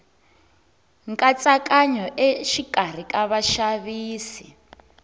hantsakanyo exikarhi ka vaxavisi